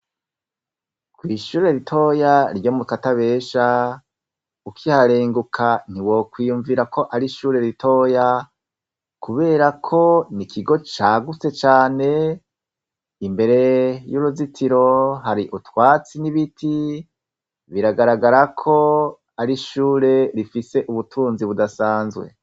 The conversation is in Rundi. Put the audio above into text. Kw'ishure ritoya ryo mu katabesha ukiharenguka ntiwokwiyumvira ko ari ishure ritoya, kubera ko n'ikigo cagutse cane, imbere y'uruzitiro hari utwatsi n'ibiti biragaragara ko ari ishure rifise ubutunzi budasanzwe.